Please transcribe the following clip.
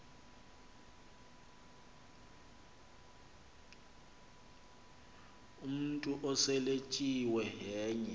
umntu oseletyiwe yenye